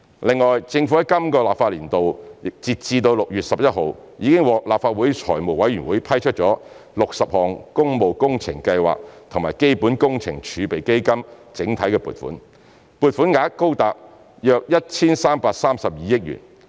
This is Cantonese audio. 另外，政府在今個立法年度截至6月11日，已獲立法會財務委員會批出60項工務工程計劃及基本工程儲備基金整體撥款，撥款額高達約 1,332 億元。